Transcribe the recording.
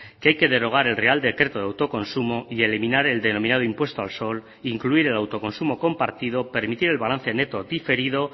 que hay que derogar el real decreto de autoconsumo y eliminar el denominado impuesto al sol incluir el autoconsumo compartido permitir el balance neto diferido